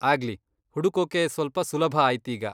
ಆಗ್ಲಿ, ಹುಡುಕೋಕೆ ಸ್ವಲ್ಪ ಸುಲಭ ಆಯ್ತೀಗ.